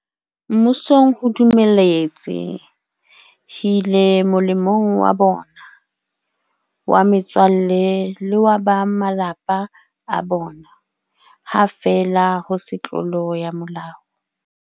Mmusong ho dumeletse hile molemong wa bona, wa metswalle le wa ba malapa a bona, ha feela ho se tlolo ya molao.